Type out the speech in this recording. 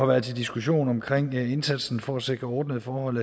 været til diskussion omkring indsatsen for at sikre ordnede forhold